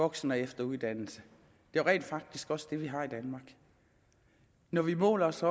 voksen og efteruddannelse det er rent faktisk også det vi har i danmark når vi måler os